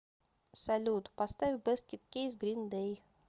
салют поставь баскет кейс грин дэй